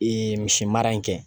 Ee misimara in kɛ